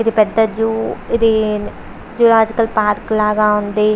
ఇది పెద్ద జూ ఇది జూలోజికల్ పార్క్ లాగా ఉంది.